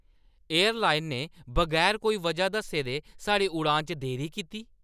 Airline ने बगैर कोई वजह दस्से दे साढ़ी उड़ान च देरी कीती।